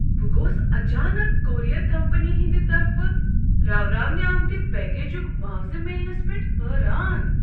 بہٕ گوس اچانک کوریر کمپنی ہندۍ طرفہٕ راوراونہ آمتہ پیکجُک معاوضہٕ میلنس پیٹھ حٲران۔